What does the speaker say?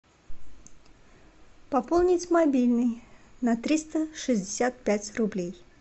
пополнить мобильный на триста шестьдесят пять рублей